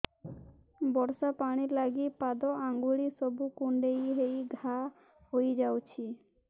ବର୍ଷା ପାଣି ଲାଗି ପାଦ ଅଙ୍ଗୁଳି ସବୁ କୁଣ୍ଡେଇ ହେଇ ଘା ହୋଇଯାଉଛି